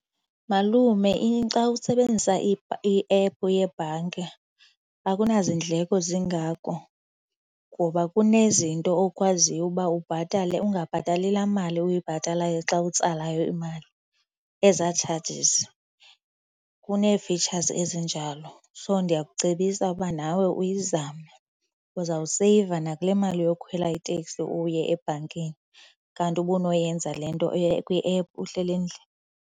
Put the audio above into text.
Malume, xa usebenzisa iephu yebhanki akunaziindleko zingako ngoba kunezinto okwaziyo uba ubhatale ungabhatali laa mali uyibhatalayo xa utsalayo imali ezaa charges. Kunee-features ezinjalo. So, ndiyakucebisa ukuba nawe uyizame. Uzawuseyiva nakule mali yokukhwela iteksi uye ebhankini kanti ubunoyenza le nto kwiephu uhleli endlini.